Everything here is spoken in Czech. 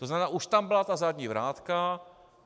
To znamená, už tam byla ta zadní vrátka.